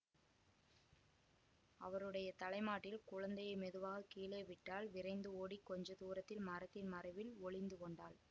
அவருடைய தலை மாட்டில் குழந்தையை மெதுவாக கீழே விட்டாள் விரைந்து ஓடிக் கொஞ்ச தூரத்தில் மரத்தின் மறைவில் ஒளிந்து கொண்டாள்